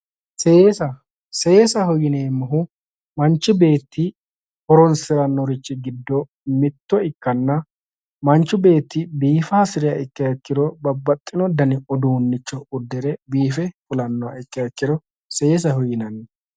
Seesa, seesaho yineemmohu manchi beetti horonsiranori giddo mitto ikkanna manchi beetti biifa hasiriha ikkiha ikkiro babbaxino danni uduunicho udire biife fulanoha ikkiro seesaho yinnanni.